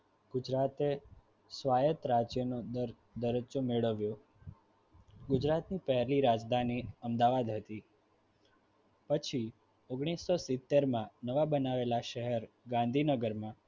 ગુજરાતે રાજ્યને મેળવ્યો ગુજરાતની પહેલી રાજધાની અમદાવાદ હતી પછી ઓગણીસો સિત્તેર માં નવા બનાવેલા શહેર ગાંધીનગરમાં